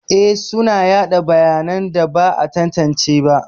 Eh, suna yada bayanan da ba a tantance ba.